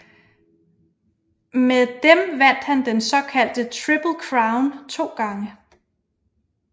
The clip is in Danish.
Med dem vandt han den såkaldte Triple Crown to gange